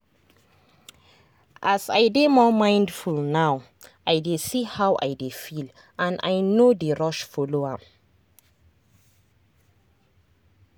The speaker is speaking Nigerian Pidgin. as i dey more mindful now i dey see how i dey feel and i no dey rush follow am.